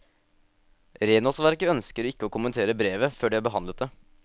Renholdsverket ønsker ikke å kommentere brevet før de har behandlet det.